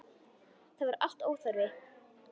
Það var allt óþarfi.